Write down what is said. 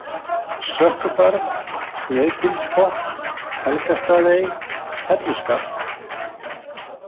Sökkubarð, Sneiðgilsbotn, Helgastaðaey, Helluskarð